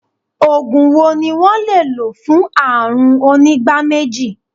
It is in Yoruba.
Ògùn wo ni wón le lò fún àrùn onígbá méjì?